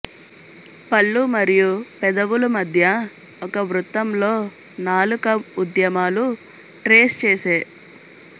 పళ్ళు మరియు పెదవులు మధ్య ఒక వృత్తంలో నాలుక ఉద్యమాలు ట్రేస్చేసే